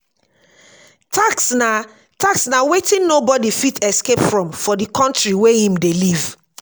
tax na tax na wetin nobody fit escape from for di country wey im dey live